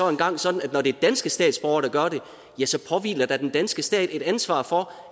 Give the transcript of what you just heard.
engang sådan at når det er danske statsborgere der gør det ja så påhviler der den danske stat et ansvar for